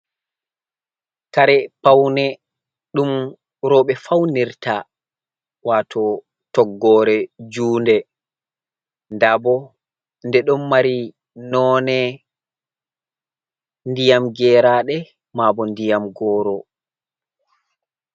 Kare paune ɗum roɓe faunirta wato toggore juunde nda bo ɗe ɗo mari none ndiyam geraɗe maabo ndiyam goro.